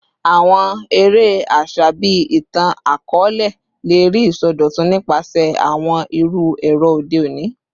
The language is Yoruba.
Awọn ere aṣa bii itan-akọọlẹ le rii isọdọtun nipasẹ awọn iru ẹrọ ode oni